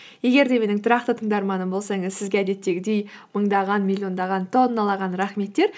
егер де менің тұрақты тыңдарманым болсаңыз сізге әдеттегідей мыңдаған миллиондаған тонналаған рахметтер